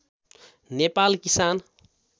नेपाल किसान